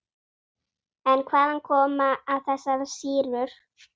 En hvaðan koma þessar sýrur?